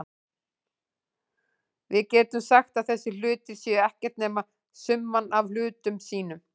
Við getum sagt að þessir hlutir séu ekkert nema summan af hlutum sínum.